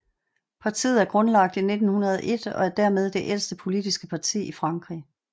Partiet er grundlagt i 1901 og er dermed det ældste politiske parti i Frankrig